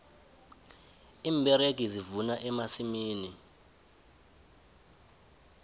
iimberegi zivuna emasimini